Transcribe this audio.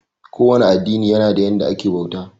Ko wane addini yana da yanda ake bauta.